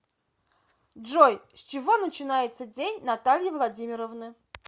джой с чего начинается день натальи владимировны